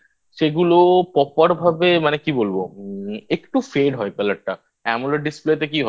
সেগুলো Proper ভাবে মানে কি বলবো? একটু Fade হয় Colour টা আর Amoled Display তে কি হয়?